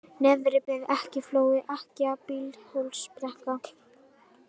Neðribreið, Ekkjuflói, Ekkja, Bíldhólsbrekka